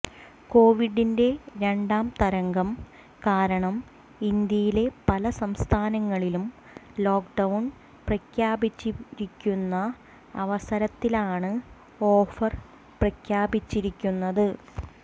കൊവിഡിന്റെ രണ്ടാം തരംഗം കാരണം ഇന്ത്യയിലെ പല സംസ്ഥാനങ്ങളിലും ലോക്ക്ഡൌൺ പ്രഖ്യാപിച്ചിരിക്കുന്ന അവസരത്തിലാണ് ഓഫർ പ്രഖ്യാപിച്ചിരിക്കുന്നത്